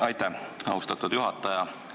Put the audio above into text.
Aitäh, austatud juhataja!